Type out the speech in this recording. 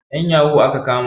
'Yan yahoo aka kama.